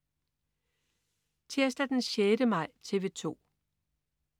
Tirsdag den 6. maj - TV 2: